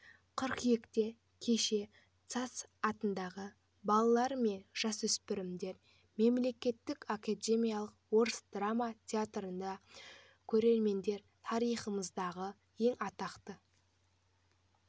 қыркүйекте кешке сац атындағы балалар мен жасөспірімдер мемлекеттік академиялық орыс драма театрында көрермендер тарихымыздағы ең атақты